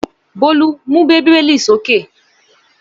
Bólú mú Bíbélì sókè!